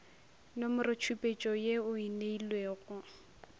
nomorotšhupetšo ye o e neilwego